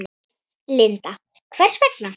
Linda: Hvers vegna?